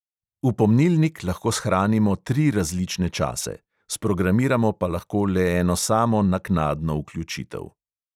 V pomnilnik lahko shranimo tri različne čase, sprogramiramo pa lahko le eno samo naknadno vključitev.